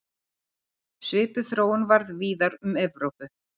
Svipuð þróun varð víðar um Evrópu.